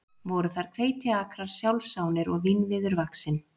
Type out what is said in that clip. Voru þar hveitiakrar sjálfsánir og vínviður vaxinn.